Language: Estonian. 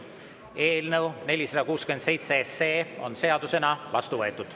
Eelnõu 467 on seadusena vastu võetud.